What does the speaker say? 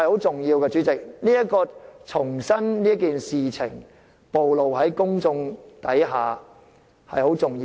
主席，重新將這件事暴露於公眾眼前，是十分重要的。